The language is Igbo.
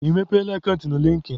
Ị mepeela akant na likin?